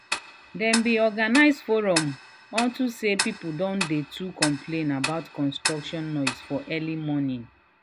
dem been organize forum. unto say people don too dey complain about construction noise for early morning.